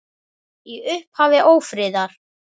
Í upphafi ófriðar